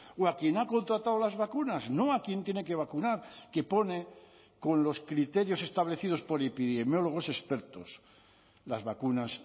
o a quien ha contratado las vacunas no a quien tiene que vacunar que pone con los criterios establecidos por epidemiólogos expertos las vacunas